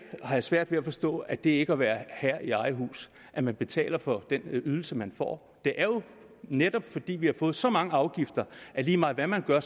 svært ved at forstå at det ikke er at være herre i eget hus at man betaler for den ydelse man får det er jo netop fordi vi har fået så mange afgifter at lige meget hvad man gør